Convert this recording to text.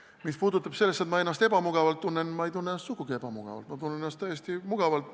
Mis puudutab seda, et ma ennast ebamugavalt tunnen – ma ei tunne ennast sugugi ebamugavalt, ma tunnen ennast täiesti mugavalt.